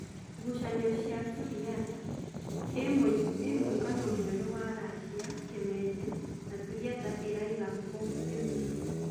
Gucanio cia Suriata: Ĩ mũngano mwerũ wa Racia, Kimende na Suriata ĩraiga kũ Limuru?